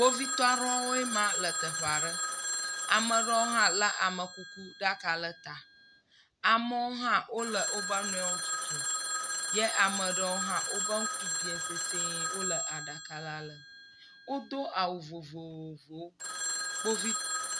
Kpovitɔ aɖewoe maa lɔ teɔe aɖe. ame aɖewo hã amekuku ɖaka ɖe eta. Ame aɖewo hã wole woƒe nɔe wo tutum. Eye ame aɖewo hã ƒe ŋku biã sesiẽ wo le aɖaka la lem.